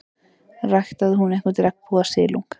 Ræktaði hún einhvern regnbogasilung?